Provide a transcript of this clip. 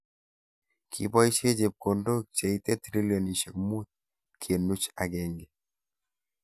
Kiboishe chepkondok cheitei trilionishek mut kenuch agenge.